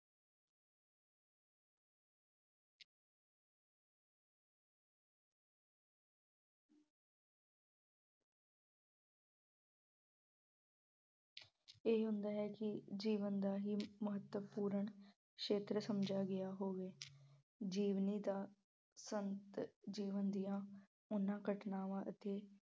ਇਹ ਹੁੰਦਾ ਹੈ ਕਿ ਜੀਵਨ ਦਾ ਹੀ ਮਹਤੱਵਪੂਰਨ ਸ਼ੇਤਰ ਸਮਝਿਆ ਗਿਆ ਹੋਵੇ। ਜਿਵੇਂ ਦਾ ਸੰਤ ਜੀਵਨ ਦੀਆਂ ਉਹਨਾਂ ਘਟਨਾਵਾਂ ਅਤੇ